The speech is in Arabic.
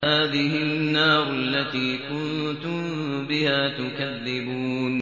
هَٰذِهِ النَّارُ الَّتِي كُنتُم بِهَا تُكَذِّبُونَ